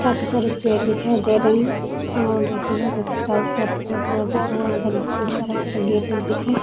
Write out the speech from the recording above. काफी सारे पेड़ दिखाई दे रहे हैं और देखिए इधर टाइल्स बहुत टुकड़ा-टुकड़ा कटा हुआ है इधर कुछ अलग सा गेट - उट दिख रहे ।